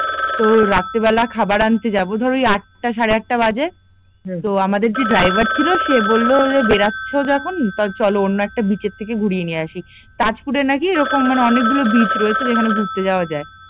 তো রাত্রি বেলা খাবার আনতে যাব ধর ওই আঁটা সারে আঁটা বাজে তো আমাদের যে ড্রাইভার ছিল সে বলল বেড়াচ্ছ যখন তো চলো অন্য একটা বিচ এর থেকে ঘুরিয়ে নিয়ে আসি, তাজপুরে নাকি এরকম মানে অনেকগুলো বিচ আছে যেখানে এরকম ঘুরতে যাওয়া যায়